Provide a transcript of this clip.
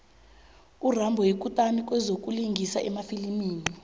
urambo yikutani kwezokulingisa emafilimini